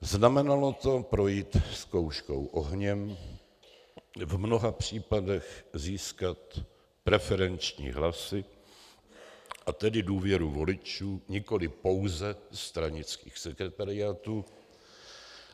Znamenalo to projít zkouškou ohněm, v mnoha případech získat preferenční hlasy, a tedy důvěru voličů, nikoli pouze stranických sekretariátů.